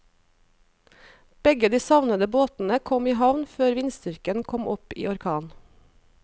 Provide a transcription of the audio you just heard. Begge de savnede båtene kom i havn før vindstyrken kom opp i orkan.